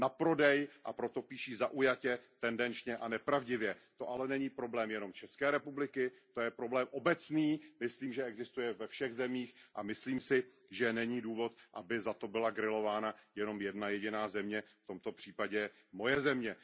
na prodej, a proto píší zaujatě, tendenčně a nepravdivě. To ale není problém jen České republiky, to je problém obecný, myslím, že existuje ve všech zemích, a myslím si, že není důvod, aby za to byla grilována jenom jedna jediná země, v tomto případě moje země.